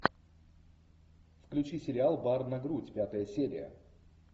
включи сериал бар на грудь пятая серия